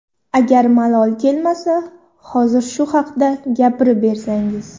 Agar malol kelmasa, hozir shu haqda gapirib bersangiz.